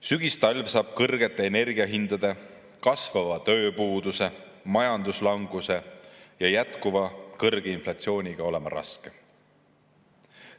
Sügistalv kõrgete energiahindade, kasvava tööpuuduse, majanduslanguse ja jätkuva kõrge inflatsiooniga tuleb raske.